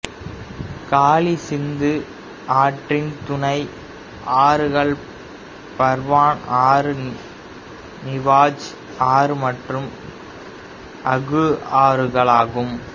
காளி சிந்து ஆற்றின் துணை ஆறுகள் பர்வான் ஆறு நிவாஜ் ஆறு மற்றும் அகு ஆறுகளாகும்